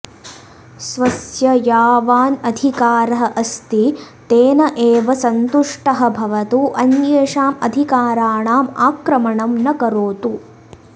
स्वस्य यावान् अधिकारः अस्ति तेन एव सन्तुष्टः भवतु अन्येषाम् अधिकाराणाम् आक्रमणं न करोतु